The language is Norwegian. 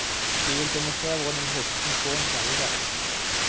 De vil demonstrere hvordan de høstet inn korn i gamle dager.